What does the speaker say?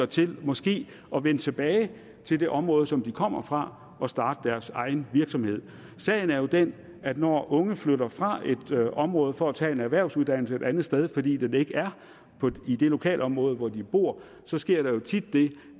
til måske at vende tilbage til det område som de kommer fra og starte deres egen virksomhed sagen er jo den at når de unge flytter fra et område for at tage en erhvervsuddannelse et andet sted fordi den ikke er i det lokalområde hvor de bor sker der tit det